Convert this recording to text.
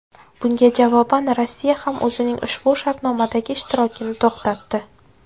Bunga javoban, Rossiya ham o‘zining ushbu shartnomadagi ishtirokini to‘xtatdi.